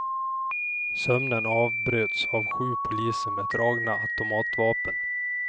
Sömnen avbröts av sju poliser med dragna automatvapen.